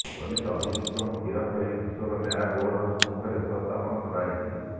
police ଅଭିଯୁକ୍ତଙ୍କୁ ଗିରଫ କରି କିଶୋର ନ୍ୟାୟ ବୋର୍ଡର ସମ୍ମୁଖରେ ଉପସ୍ଥାପନ କରାଇଛି